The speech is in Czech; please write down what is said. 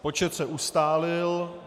Počet se ustálil.